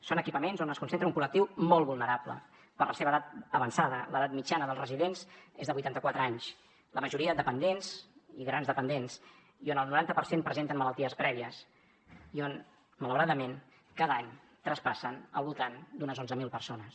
són equipaments on es concentra un col·lectiu molt vulnerable per la seva edat avançada l’edat mitjana dels residents és de vuitanta quatre anys la majoria dependents i grans dependents i on el noranta per cent presenten malalties prèvies i on malauradament cada any traspassen al voltant d’unes onze mil persones